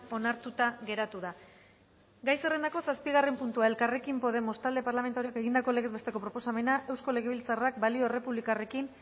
onartuta geratu da gai zerrendako zazpigarren puntua elkarrekin podemos talde parlamentarioak egindako legez besteko proposamena eusko legebiltzarrak balio errepublikarrekin